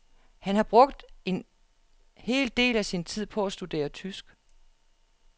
Han har brugt en en del af sin tid på at studere tysk.